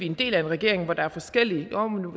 en del af en regering hvor der er forskellige jo